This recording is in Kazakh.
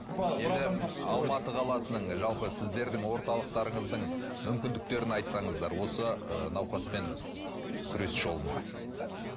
алматы қаласының жалпы сіздердің орталықтарыңыздың мүмкіндіктерін айтсаңыздар осы ы науқаспен күрес жолында